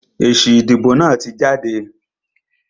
Èsì ìdìbò náà tí jáde.